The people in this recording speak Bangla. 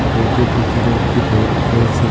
ঘরটির ভিতরে একটি ব্রেড রয়েসে।